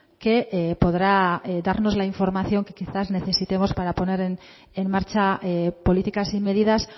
que podrá darnos la información que quizá necesitemos para poner en marcha políticas y medidas